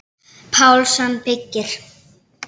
Pálsson byggir.